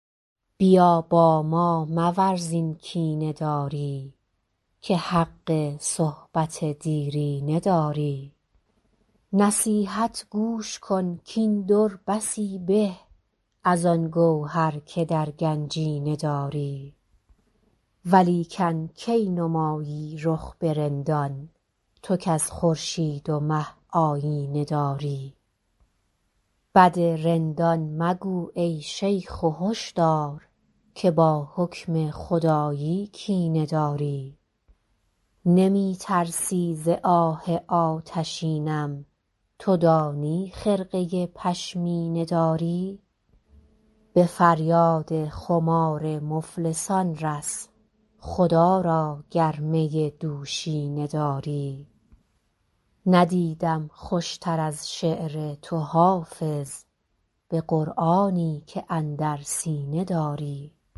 بیا با ما مورز این کینه داری که حق صحبت دیرینه داری نصیحت گوش کن کاین در بسی به از آن گوهر که در گنجینه داری ولیکن کی نمایی رخ به رندان تو کز خورشید و مه آیینه داری بد رندان مگو ای شیخ و هش دار که با حکم خدایی کینه داری نمی ترسی ز آه آتشینم تو دانی خرقه پشمینه داری به فریاد خمار مفلسان رس خدا را گر می دوشینه داری ندیدم خوش تر از شعر تو حافظ به قرآنی که اندر سینه داری